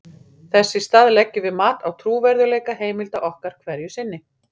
þess í stað leggjum við mat á trúverðugleika heimilda okkar hverju sinni